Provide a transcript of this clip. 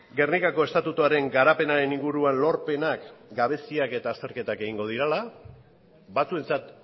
gernikako estatutuaren garapenaren inguruan lorpenak gabeziak eta azterketak egingo direla batzuentzat